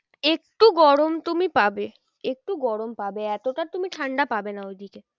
একটু গরম তুমি পাবে। একটু গরম পাবে এতটা তুমি ঠান্ডা পাবে না ওইদিকে